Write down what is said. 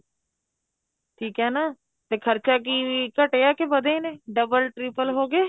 ਠੀਕ ਏ ਨਾ ਤੇ ਖ਼ਰਚਾ ਕੀ ਵੀ ਘਟਿਆ ਕੇ ਵਧੇ ਨੇ double triple ਹੋ ਗਏ